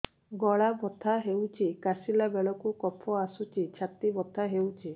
ଗଳା ବଥା ହେଊଛି କାଶିଲା ବେଳକୁ କଫ ଆସୁଛି ଛାତି ବଥା ହେଉଛି